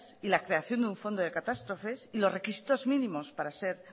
y la creación de un fondo de catástrofes y los requisitos mínimos para ser